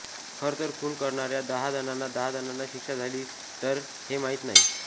खरं तर खून करणार्या दहा जणांना दहा जणांना शिक्षा झाली तर हे माहित नाही